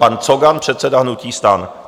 Pan Cogan, předseda hnutí STAN.